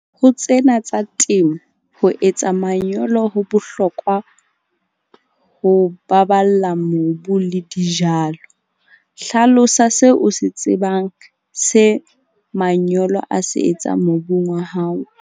Ho tsena tsa temo ho etsa manyolo ho bohlokwa ho baballa mobu le dijalo. Hlalosa seo o se tsebang se manyolo a se etsang mobung wa hao.